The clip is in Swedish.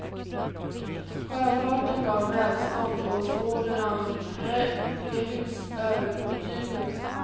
Sjöfarten gav välstånd och och spåren av präktiga hus övertygar.